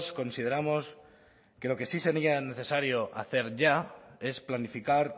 consideramos que lo que sí sería necesario hacer ya es planificar